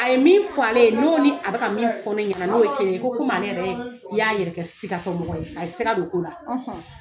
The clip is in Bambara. A ye min fɔ ale ye, n'o ni a bɛ min fɔ ne ɲɛna n'o ye kelen ye, ko komi ale yɛrɛ y'a yɛrɛ kɛ sigatɔ mɔgɔ ye, a ye siga don ko la.